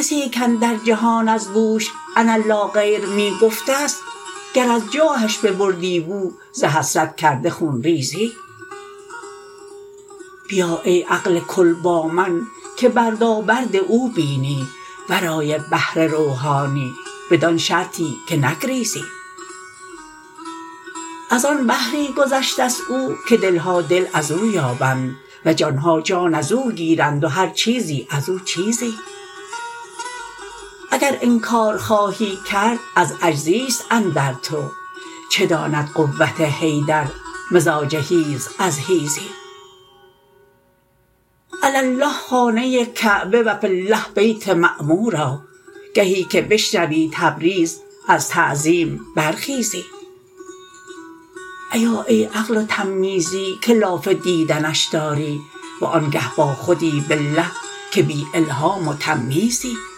کسی کاندر جهان از بوش انا لا غیر می گفته ست گر از جاهش ببردی بو ز حسرت کرده خون ریزی بیا ای عقل کل با من که بردابرد او بینی ورای بحر روحانی بدان شرطی که نگریزی از آن بحری گذشته ست او که دل ها دل از او یابند و جان ها جان از او گیرند و هر چیزی از او چیزی اگر انکار خواهی کرد از عجزی است اندر تو چه داند قوت حیدر مزاج حیز از حیزی علی الله خانه کعبه و فی الله بیت معمورا گهی که بشنوی تبریز از تعظیم برخیزی ایا ای عقل و تمییزی که لاف دیدنش داری وآنگه باخودی بالله که بی الهام و تمییزی